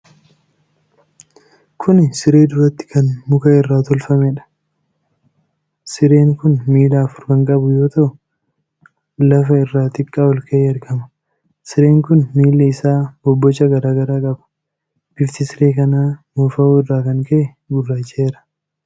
Kuni siree duratti kan muka irraa tolfamedha. Sireen kun miila afur kan qabu yoo ta'u, lafa irraa xiqqoo olka'ee argama. Sireen kun miilli isaa bobboca garaa garaa qaba. Bifti siree kanaa moofawuu irraa kan ka'e gurraacha'eera.